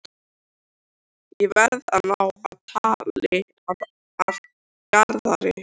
Ég verð að ná tali af Garðari.